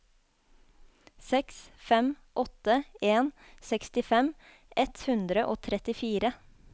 seks fem åtte en sekstifem ett hundre og trettifire